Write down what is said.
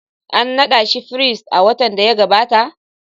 An nada shi firist a watan da ya gabata?